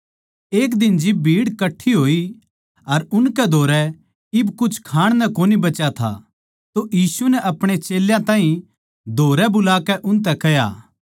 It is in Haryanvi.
एक दिन जिब भीड़ कट्ठी होई अर उनकै धोरै इब कुछ खाण नै कोनी बचा था तो यीशु नै आपणे चेल्यां ताहीं धोरै बुलाकै उनतै कह्या